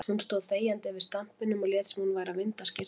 Hún stóð þegjandi yfir stampinum og lét sem hún væri að vinda skyrtuna.